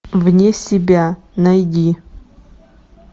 вне себя найди